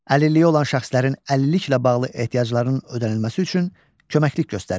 Əlilliyi olan şəxslərin əlilliklə bağlı ehtiyaclarının ödənilməsi üçün köməklik göstərir.